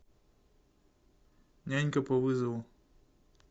нянька по вызову